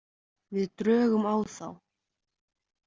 Við drögum á þá.